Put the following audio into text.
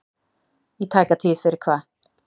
Í tæka tíð fyrir hvað?